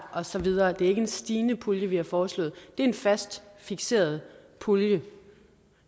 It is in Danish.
og så videre det er ikke en stigende pulje vi har foreslået det er en fast fikseret pulje